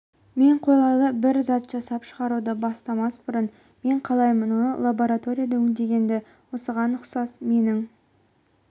кейбір адамдар мені түсінбей қашқалақтайтындай көрінеді бірақ мен мұның себебін білмеймін